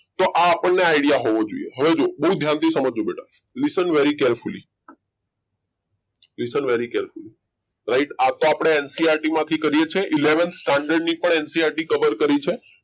તો આપણને આઈડિયા હોવો જોઈએ હવે જુઓ બહુ ધ્યાનથી સમજજો બેટા listen very carefully right આ તો આપને ncrt માંથી કરીએ છે eleven standard ની પણ એનસીઆરટી cover કરી છે